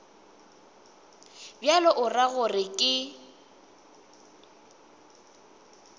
bjalo o ra gore ke